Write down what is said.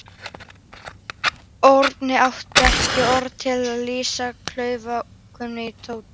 Örn átti ekki orð til að lýsa klaufaskapnum í Tóta.